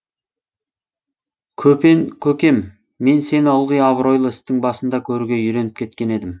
көпен көкем мен сені ылғи абыройлы істің басында көруге үйреніп кеткен едім